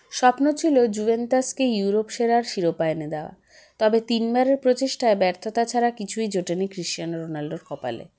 স্বপ্ন ছিল জুভেন্টাসকে ইউরোপ সেরার শিরোপা এনে দেওয়া তবে তিন বারের প্রচেষ্টায় ব্যর্থতা ছাড়া কিছুই জোটেনি কৃষ্চানো রোনাল্ডোর কপালে